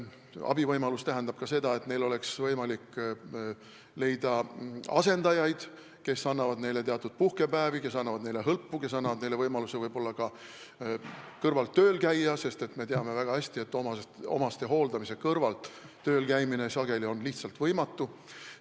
Abivõimalus tähendab ka seda, et oleks võimalik leida asendajaid, kes annavad puhkepäevi, kes annavad neile inimestele hõlpu, kes annavad neile võimaluse omastehoolduse kõrvalt võib-olla ka tööl käia, sest me teame väga hästi, et selle kõrvalt tööl käia on praegu sageli lihtsalt võimatu.